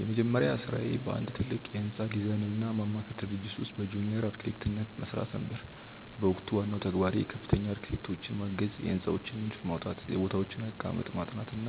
የመጀመሪያ ሥራዬ በአንድ ትልቅ የሕንፃ ዲዛይንና ማማከር ድርጅት ውስጥ በጁኒየር አርክቴክትነት መሥራት ነበር። በወቅቱ ዋናው ተግባሬ ከፍተኛ አርክቴክቶችን ማገዝ፣ የሕንፃዎችን ንድፍ ማውጣት፣ የቦታዎችን አቀማመጥ ማጥናት እና